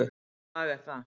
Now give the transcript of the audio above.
Hvaða lag er það?